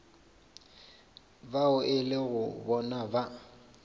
bao e lego bona ba